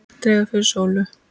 Dregur fyrir sólu